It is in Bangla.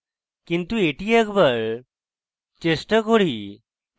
কিন্তু এটি একবার চেষ্টা করি